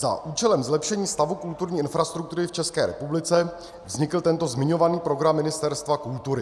Za účelem zlepšení stavu kulturní infrastruktury v České republice vznikl tento zmiňovaný program Ministerstva kultury.